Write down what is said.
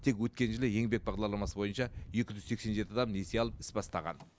тек өткен жылы еңбек бағдарламасы бойынша екі жүз сексен жеті адам несие алып іс бастаған